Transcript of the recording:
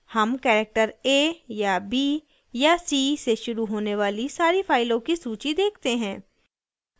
हम character a या b या c से शुरू होने वाली सारी फाइलों की सूची देखते हैं